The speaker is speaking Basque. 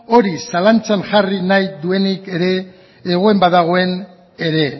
hori zalantzan jarri nahi duena ere egon badagoen ere